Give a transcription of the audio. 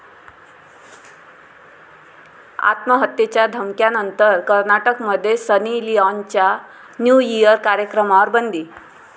आत्महत्येच्या धमक्यांनंतर कर्नाटकमध्ये सनी लिआॅनच्या 'न्यू इअर' कार्यक्रमावर बंदी